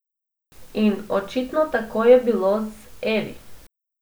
In točno tako je bilo z Eli.